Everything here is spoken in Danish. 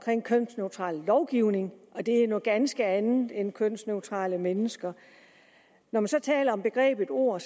er en kønsneutral lovgivning og det er noget ganske andet end kønsneutrale mennesker når man så taler om begrebet ord